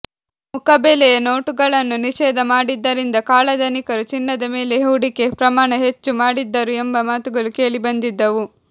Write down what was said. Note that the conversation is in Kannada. ಮುಖಬೆಲೆಯ ನೋಟುಗಳನ್ನು ನಿಷೇಧ ಮಾಡಿದ್ದರಿಂದ ಕಾಳಧನಿಕರು ಚಿನ್ನದ ಮೇಲೆ ಹೂಡಿಕೆ ಪ್ರಮಾಣ ಹೆಚ್ಚು ಮಾಡಿದ್ದರು ಎಂಬ ಮಾತುಗಳು ಕೇಳಿಬಂದಿದ್ದವು